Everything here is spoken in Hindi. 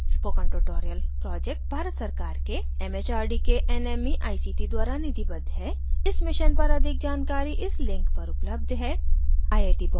spoken tutorial project भारत सरकार के mhrd के nmeict द्वारा निधिबद्ध है इस mission पर अधिक जानकारी इस link पर उपलब्ध है